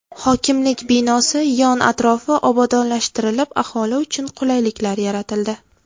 Hokimlik binosi yon-atrofi obodonlashtirilib, aholi uchun qulayliklar yaratildi.